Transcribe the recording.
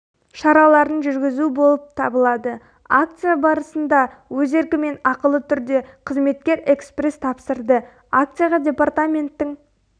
шараларын жүргізу болып табылады акция барысында өз еркімен ақылы түрде қызметкер экспресс тапсырды акцияға департаменттің